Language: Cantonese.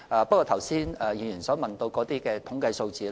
當局並沒有議員剛才問到的統計數字。